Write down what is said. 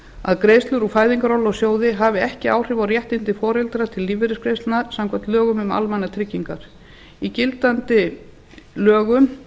að greiðslur úr fæðingarorlofssjóði hafi ekki áhrif á réttindi foreldra til lífeyrisgreiðslna samkvæmt lögum um almannatryggingar í gildandi lögum